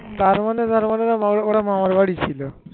তার মানে, তার মানে ওরা ওদের মামার বাড়িতে ছিল